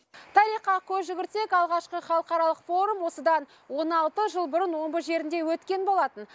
тарихқа көз жүгіртсек алғашқы халықаралық форум осыдан он алты жыл бұрын омбы жерінде өткен болатын